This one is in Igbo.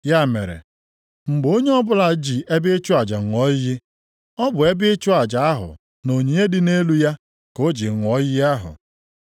Ya mere, mgbe onye ọbụla ji ebe ịchụ aja ṅụọ iyi, ọ bụ ebe ịchụ aja ahụ na onyinye dị nʼelu ya ka o ji ṅụọ iyi ahụ.